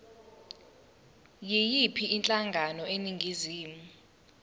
yiyiphi inhlangano eningizimu